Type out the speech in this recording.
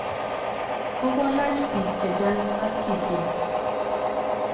Kokolach piik che chang' maskisyek.